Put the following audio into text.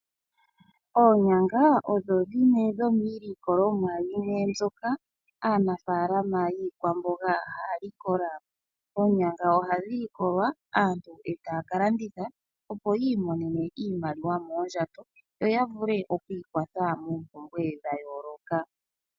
Oonyanga odho dhimwe yomiilikolomwa yimwe mbyoka aanafaalama yiikwamboga haya likola. Oonyanga ohadhi likolwa aantu eta ya ka landitha opo aantu yi imonene iimaliwa moondjato, yo ya vule okwiikwatha moompumbwe dhayooloka .